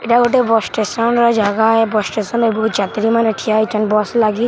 ଇଟା ଗୁଟେ bus station ର ଜାଗା ଏ ବସ୍ ଷ୍ଟେସନ ରେ ବହୁତ ଯାତ୍ରୀ ମାନେ ଠିଆ ହେଇଛନ୍‌ ବସ୍ ଲାଗି --